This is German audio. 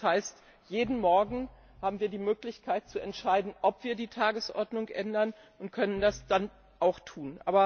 Das heißt, wir haben jeden Morgen die Möglichkeit zu entscheiden, ob wir die Tagesordnung ändern, und können das dann auch tun.